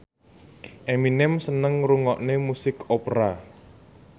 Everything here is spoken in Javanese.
Eminem seneng ngrungokne musik opera